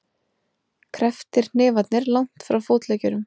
Krepptir hnefarnir langt frá fótleggjunum.